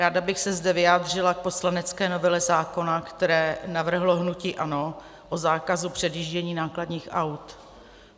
Ráda bych se zde vyjádřila k poslanecké novele zákona, kterou navrhlo hnutí ANO, o zákazu předjíždění nákladních aut.